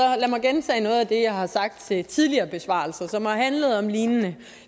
gentage noget af det som jeg har sagt ved tidligere besvarelser som har handlet om lignende